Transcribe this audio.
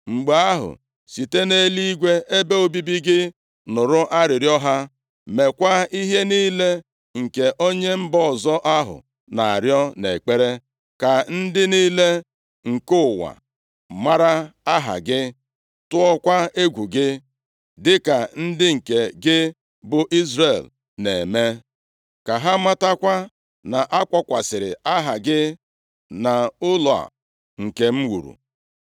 mgbe ahụ, site nʼeluigwe ebe obibi gị nụrụ arịrịọ ha. Mekwaa ihe niile nke onye mba ọzọ ahụ na-arịọ nʼekpere, ka ndị niile nke ụwa mara aha gị, tụọkwa egwu gị, dịka ndị nke gị bụ Izrel na-eme. Ka ha matakwa na-akpọkwasịrị Aha gị nʼụlọ a nke m wuru.